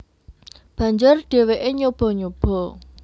Banjur dheweke nyoba nyoba